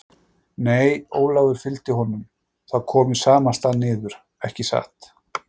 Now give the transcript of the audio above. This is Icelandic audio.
Nei, Ólafur fylgdi honum, það kom í sama stað niður, ekki satt?